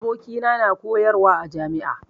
Abokina na koyarwa a jami'a